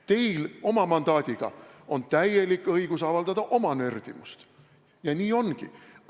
Teil oma mandaadiga on täielik õigus avaldada oma nördimust ja nii ongi.